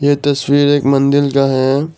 ये तस्वीर एक मंदिर का है।